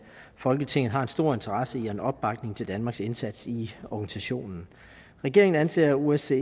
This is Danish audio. folketinget har en stor interesse i en opbakning til danmarks indsats i organisationen regeringen anser osce